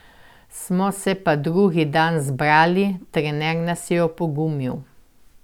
Smo se pa drugi dan zbrali, trener nas je opogumil.